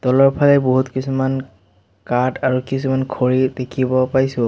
তলৰফালে বহুত কিছুমান কাঠ আৰু কিছুমান খৰি দেখিব পাইছোঁ।